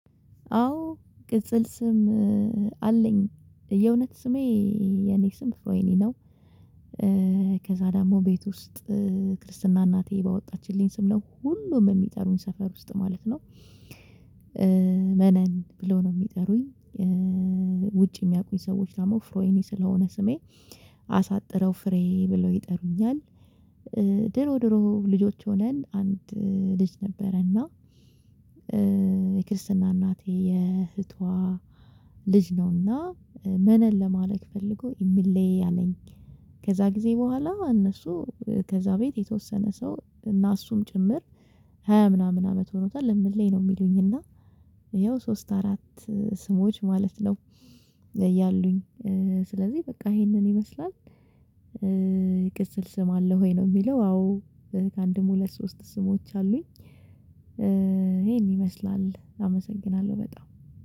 አዎ ቅጽል ስም አለኝ የእውነት ስሜ የኔ ስም ፍሮይኒ ነው። ደግሞ ቤት ውስጥ ክርስትና እናቴ ባወጣችልኝ ስም ነው ሁሉም የሚጠሩኝ ሰፈር ውስጥ ማለት ነው መነን ብለው ነው የሚጠሩኝ ውጭ የሚያውቁኝ ሰዎች ደግሞ ፍሮይኒ ስለሆነ ስሜ አሳጥረው ፍሬ ብለው ይጠሩኛል። ድሮ ድሮ ልጆች ሆነን አንድ ልጅ ነበረና የክርስትና እናቴ የእህቷ ልጅ ነውና መነን ለማለት ፈልጎ እሚሌ አለኝ። ከዛ ጊዜ በኋላ እነሱ ከዛ ቤት የተወሰነ ሰው እና እሱም ጭምር ሃያ ምናምን አመት ሆኖታል እሚሌ ነው የሚሉኝ እና ያው ሶስት አራት ስሞች ማለት ነው ያሉኝ ስለዚህ በቃ ይሄንን ይመስላል ቅጽል ስም አለህ ወይ ነው የሚለው አዎ ሁለት ሶስት ስሞች አሉኝ ይሄን ይመስላል አመሰግናለሁ በጣም።